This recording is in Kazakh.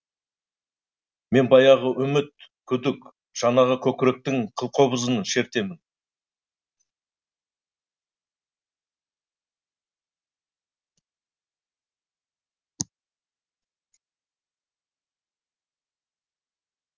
мен баяғы үміт күдік шанағы көкіректің қылқобызын шертемін